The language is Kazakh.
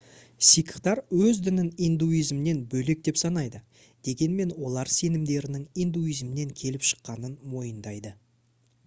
сикхтар өз дінін индуизмнен бөлек деп санайды дегенмен олар сенімдерінің индуизмнен келіп шыққанын мойындайды